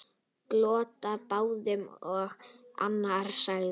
Glottu báðir og annar sagði: